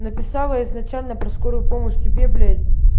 написала изначально про скорую помощь тебе блять